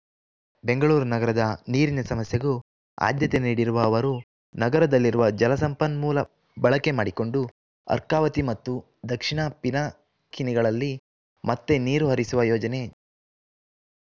ಬೆಂಗಳೂರು ನಗರದ ನೀರಿನ ಸಮಸ್ಯೆಗೂ ಆದ್ಯತೆ ನೀಡಿರುವ ಅವರು ನಗರದಲ್ಲಿರುವ ಜಲಸಂಪನ್ಮೂಲ ಬಳಕೆ ಮಾಡಿಕೊಂಡು ಅರ್ಕಾವತಿ ಮತ್ತು ದಕ್ಷಿಣ ಪಿನಾಕಿನಿಗಳಲ್ಲಿ ಮತ್ತೇ ನೀರು ಹರಿಸುವ ಯೋಜನೆ